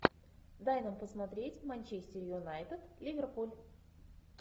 дай нам посмотреть манчестер юнайтед ливерпуль